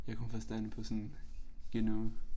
Jeg kun forstand på sådan GNU